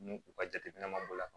Ni u ka jateminɛ ma bɔ a la